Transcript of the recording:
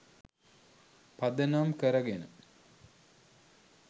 පදනම් කරගෙන